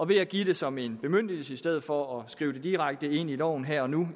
ved at give det som en bemyndigelse i stedet for at skrive det direkte ind i loven her og nu